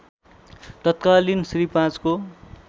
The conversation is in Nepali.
तत्कालीन श्री ५ को